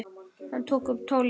Hann tók upp tólið.